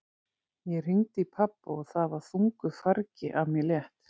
Ég hringdi í pabba og það var þungu fargi af mér létt.